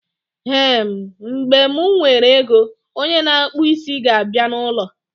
Ehen, mgbe mụ nwere ego, onye na akpụ isi ga abịa na ụlọ